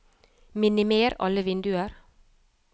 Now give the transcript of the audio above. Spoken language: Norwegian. minimer alle vinduer